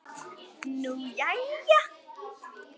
Nú jæja.